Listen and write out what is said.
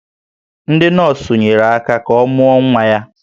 Ndị nọọsụ nyere aka ka ọ mụọ nwa ya